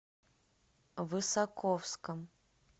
высоковском